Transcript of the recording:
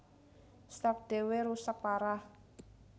Stark déwé rusak parah